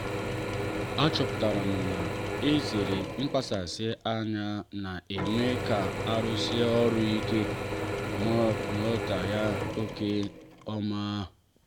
a chọpụtara m na izere mkpasasi anya na-eme ka arụsịe ọrụ ike ma ruo ya nke ọma.